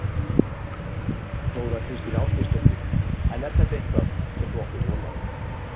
Þóra Kristín Ásgeirsdóttir: En er þetta eitthvað sem þú áttir von á?